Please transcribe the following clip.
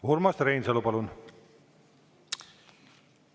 Urmas Reinsalu, palun!